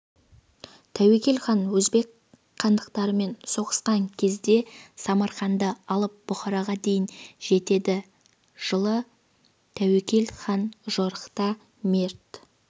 тәуекел хан өзбек хандықтарымен соғысқан кезде самарқанды алып бұхараға дейін жетеді жылы тәуекел хан жорықта мерт